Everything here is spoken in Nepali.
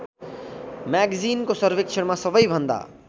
म्यागजिनको सर्वेक्षणमा सबैभन्दा